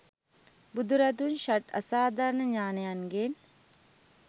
බුදුරදුන් ෂඩ් අසාධාරණ ඥානයන්ගෙන්